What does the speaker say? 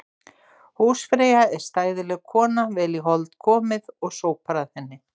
Húsfreyja er stæðileg kona, vel í hold komið og sópar að henni.